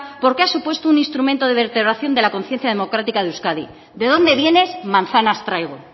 porque ha supuesto un instrumento de vertebración de la consciencia democrática de euskadi de dónde vienes manzanas traigo